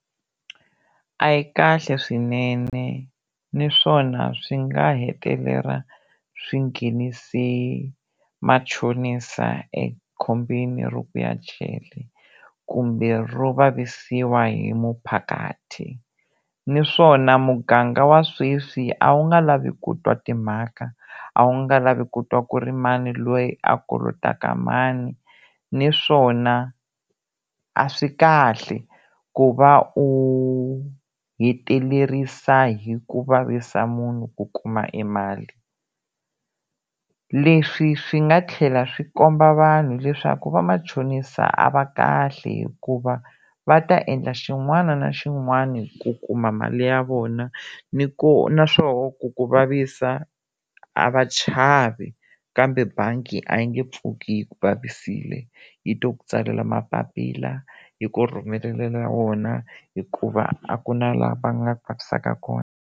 A yi kahle swinene naswona swi nga hetelela swi nghenise machonisa ekhombyeni ro ku ya jele kumbe ro vavisiwa hi muphakati naswona muganga wa sweswi a wu nga lavi ku twa timhaka a wu nga lavi ku twa ku ri i mani loyi a kolotaka mani naswona a swi kahle ku va u hetelerisa hi ku vavisa munhu ku kuma e mali leswi swi nga tlhela swi komba vanhu leswaku va machonisa a va kahle hikuva va ta endla xin'wana na xin'wana ku kuma mali ya vona naswona ku ku vavisa a va chavi kambe bangi a yi nge pfuki yi ku vavisile yi to ku tsalela mapapila yi ku rhumelela wona hikuva a ku na laha va nga ta ku vavisaka kona.